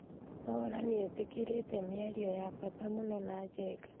Mwaura nĩetekerĩte mĩario ya bata mũno na Njenga